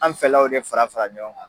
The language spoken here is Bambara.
An fɛlaw de farafara ɲɔgɔn kan.